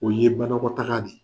O ye banakɔtaga de ye.